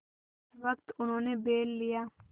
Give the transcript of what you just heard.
जिस वक्त उन्होंने बैल लिया